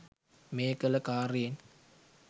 මේ කළ කාර්යයෙන්